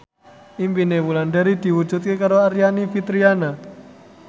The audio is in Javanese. impine Wulandari diwujudke karo Aryani Fitriana